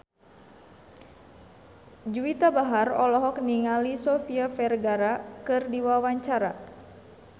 Juwita Bahar olohok ningali Sofia Vergara keur diwawancara